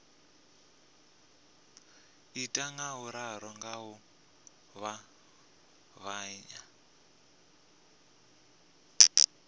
ita ngauralo nga u ṱavhanya